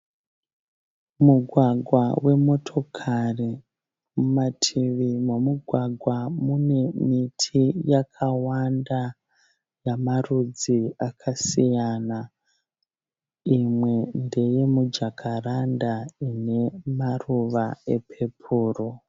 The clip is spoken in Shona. Mugwagwa wemotikari. Mumativi momugwagwa mune miti yakawanda yemarudzi akasiyana. Mimwe ndeye mijakaranda ine maruva epepuru.